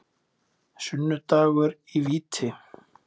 Sunnudagur í víti.